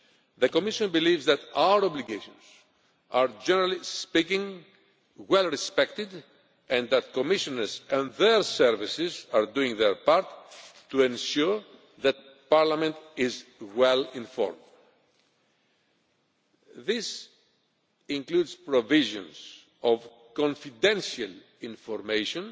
The Commission believes that our obligations are, generally speaking, well respected and that Commissioners and their services are doing their part to ensure that Parliament is well informed. This includes the provision of confidential information